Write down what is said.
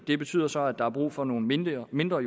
det betyder så at der er brug for nogle mindre mindre